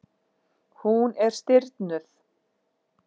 Hún er stirðnuð.